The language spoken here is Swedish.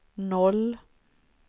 noll